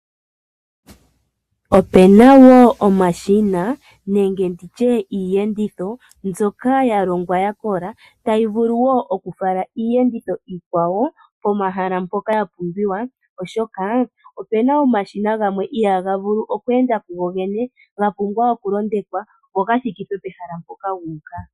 Ope na woo omashina nenge nditye iiyenditho mbyoka ya longwa ya kola tayi vulu woo okufala iiyenditho iikwawo komahala mpoka ya pumbiwa, oshoka ope na omashina gamwe ihaga vulu okuenda ku go gene ga pumbwa okulondekwa opo gathikithwe pehala mpoka guuka.